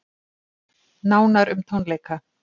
Nánar um tónleika